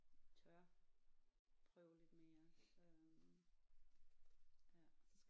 Tør prøve lidt mere øh ja